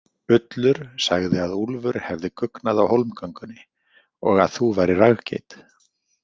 Ullur sagði að Úlfur hefði guggnað á hólmgöngunni og að þú værir raggeit.